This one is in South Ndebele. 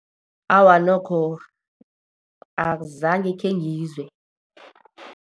Awa, nokho azange khengizwe.